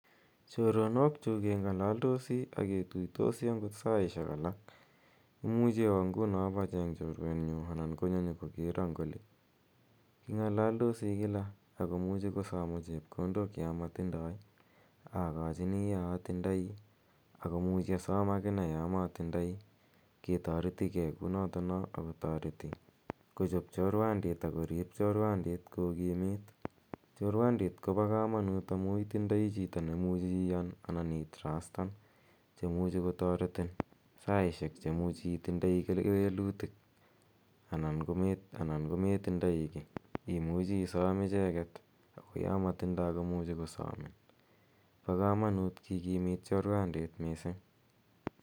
Choronokchuk keng'alaldosi ak ketuitosi agot saishek alak. Imuchi awa nguno ipacheng' chorwenyu anan konyo nyu kokera eng' oli. King'alaldosi kila ako muchi kosama chepkondok ya matindai akachini ya atindai ako muchi asam akine ya matindai. Ke tareti ge kou notono ako tareti kochop chorwandit ak korip chorwandit ko kimit. Chorwandit ko pa kamanut amu itindai chito ne imuchi iyan anan itrustan che muchi kotaretin saishek che muchi itindai kewelutik anan ko metindai ki imuchi isam icheget ako ya matindai ko muchi kosamin. Pa kamanut kikimit chorwandit missing'.